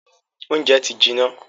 Óúnjẹ ti jiná.